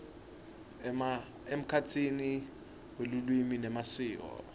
emkhatsini welulwimi nemasiko